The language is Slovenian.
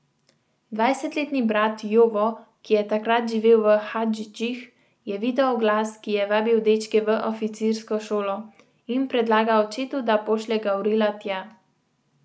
Dvajsetletni brat Jovo, ki je takrat živel v Hadžićih, je videl oglas, ki je vabil dečke v oficirsko šolo, in predlagal očetu, da pošlje Gavrila tja.